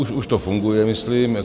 Už to funguje, myslím.